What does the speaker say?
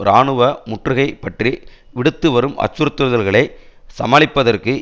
இராணுவ முற்றுகை பற்றி விடுத்து வரும் அச்சுறுத்தல்களை சமாளிப்பதற்கு